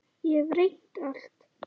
Ég hef reynt allt.